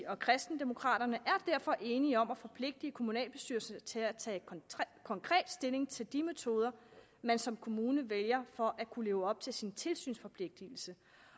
og kristendemokraterne er derfor enige om at forpligte kommunalbestyrelserne til at tage konkret stilling til de metoder man som kommune vælger for at kunne leve op til sin tilsynsforpligtelse